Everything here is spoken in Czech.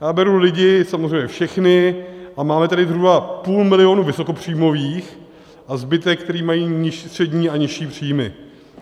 Já beru lidi samozřejmě všechny, a máme tady zhruba půl milionu vysokopříjmových a zbytek, kteří mají nižší střední a nižší příjmy.